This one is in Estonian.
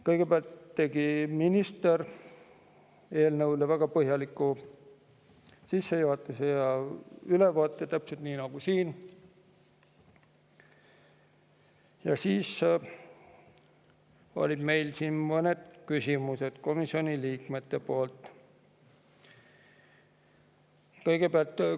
Kõigepealt tegi minister eelnõu kohta väga põhjaliku sissejuhatuse ja ülevaate – täpselt nagu täna siin – ja seejärel olid komisjoni liikmetel mõned küsimused.